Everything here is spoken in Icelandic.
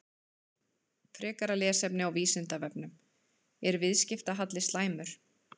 Frekara lesefni á Vísindavefnum: Er viðskiptahalli slæmur?